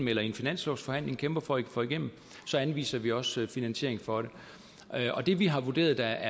eller i en finanslovsforhandling kæmper for at få igennem så anviser vi også finansiering for det og det vi har vurderet der